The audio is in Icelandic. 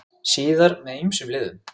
Síðar með ýmsum liðum.